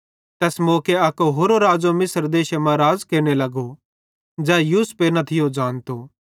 तैस मौके अक होरो राज़ो मिस्रे मां राज़ केरने लगो ज़ै यूसुफे न थियो ज़ानतो